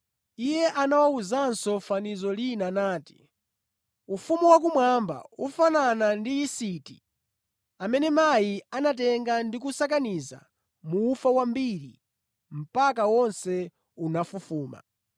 Iye anawawuzanso fanizo lina nati: “Ufumu wakumwamba ufanana ndi yisiti amene mayi anatenga ndi kusakaniza mu ufa wambiri mpaka wonse unafufuma.”